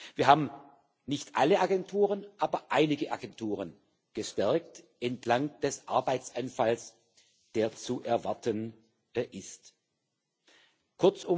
Wir haben nicht alle Agenturen, aber einige Agenturen entlang des Arbeitsanfalls, der zu erwarten ist, gestärkt.